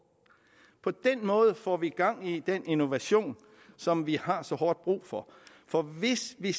på den måde får vi gang i den innovation som vi har så hårdt brug for for hvis vi